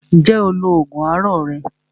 Ǹjẹ́ o lo oògùn àárọ̀ rẹ?